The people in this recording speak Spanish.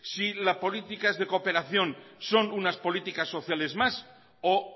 si la política es de cooperación son unas políticas sociales más o